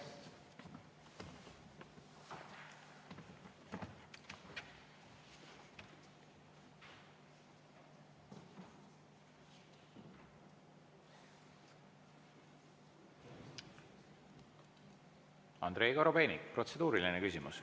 Andrei Korobeinik, protseduuriline küsimus.